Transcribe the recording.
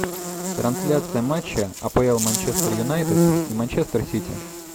трансляция матча апл манчестер юнайтед и манчестер сити